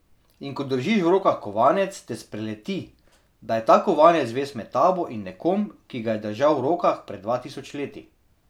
In ko držiš v rokah kovanec, te spreleti, da je ta kovanec vez med tabo in nekom, ki ga je držal v rokah pred dva tisoč leti.